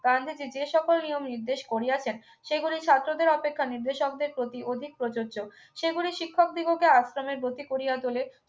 গান্ধীজি যে সকল নিয়ম নির্দেশ করিয়াছেন সেগুলি ছাত্রদের অপেক্ষায় নির্দেশকদের প্রতি অধিক প্রযোজ্য সেগুলি শিক্ষক দিগকে আশ্রমে গতি করিয়া তোলে